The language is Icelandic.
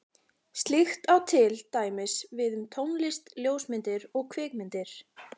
Slíkt á til dæmis við um tónlist, ljósmyndir og kvikmyndir.